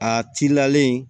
A cilalen